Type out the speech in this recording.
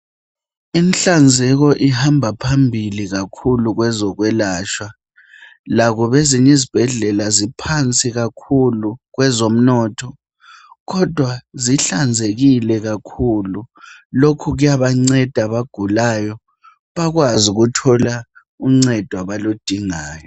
Inhlanzeko ihamba phambili kakhulu kwezokwelatshwa. Lobo kwezinyi zibhedlela ziphansi kakhulu kwezomnotho kodwa zihlanzekile kakhulu. Lokhu kuyabanceda abagulayo bakwazi ukuthola uncedo abaludingayo.